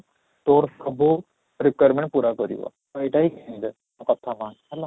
ତୋର ସବୁ rearmament ପୁରା କରିବ ଆଉ ଏଇଟା ହିଁ ମୋ କଥା ମାନ ହେଲା